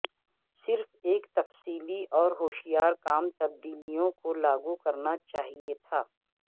صرف ایک تفصیلی اور ہوشیار کام تبدیلیوں کو لاگو کرنا چاہئے تھا